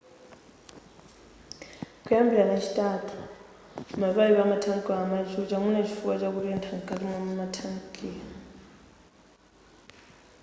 kuyambira lachitatu mapayipi amathanki amachucha mwina chifukwa chakutetha nkati mwathanki